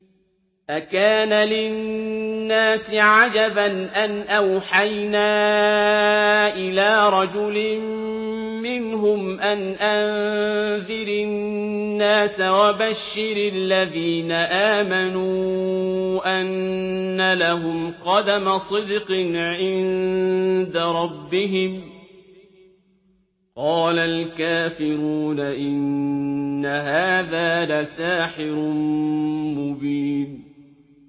أَكَانَ لِلنَّاسِ عَجَبًا أَنْ أَوْحَيْنَا إِلَىٰ رَجُلٍ مِّنْهُمْ أَنْ أَنذِرِ النَّاسَ وَبَشِّرِ الَّذِينَ آمَنُوا أَنَّ لَهُمْ قَدَمَ صِدْقٍ عِندَ رَبِّهِمْ ۗ قَالَ الْكَافِرُونَ إِنَّ هَٰذَا لَسَاحِرٌ مُّبِينٌ